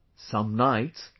Some nights ...